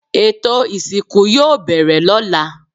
Ètò ìsìnkú yoo bẹ̀rẹ̀ ló̩la